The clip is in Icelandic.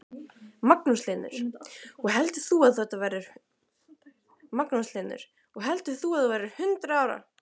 Magnús Hlynur: Og heldur þú að þú verðir hundrað ára?